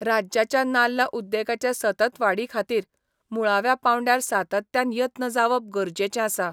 राज्याच्या नाल्ल उद्देगाचे सतत वाडी खातीर, मुळाव्या पांवड्यार सातत्यान यत्न जावप गरजेचें आसा.